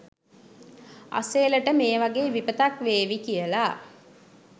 අසේලට මේ වගේ විපතක්‌වේවි කියලා